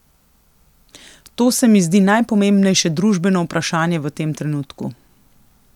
To se mi zdi najpomembnejše družbeno vprašanje v tem trenutku.